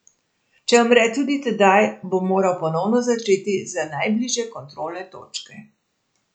Če umre tudi tedaj, bo moral ponovno začeti z najbližje kontrolne točke.